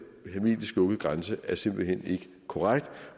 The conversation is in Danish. hermetisk lukket grænse er simpelt hen ikke korrekt